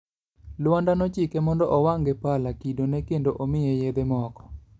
Luanda nochike mondo owang' gi pala kidone kendo omiye yedhe moko.